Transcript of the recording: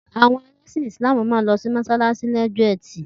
The Muslims will go to mosque on Friday.